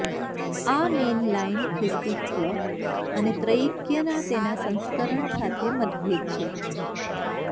આ મેઇનલાઇન ખ્રિસ્તીત્વ અને ત્રૈક્યના તેના સંસ્કરણ સાથે મતભેદ છે